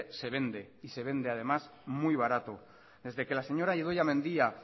se vende y se vende además muy barato desde que la señora idoia mendia